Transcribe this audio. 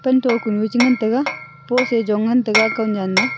pantho kunu cha ngan taiga post aa Jon ngan taiga kan nen aa.